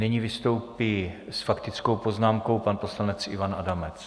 Nyní vystoupí s faktickou poznámkou pan poslanec Ivan Adamec.